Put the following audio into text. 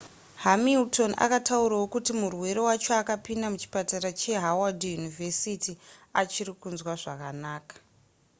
hamilton akataurawo kuti murwere wacho akapinda muchipatara chehoward university achiri kunzwa zvakakanaka